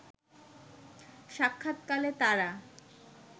সাক্ষাৎকালে তারা